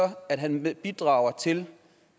at han bidrager til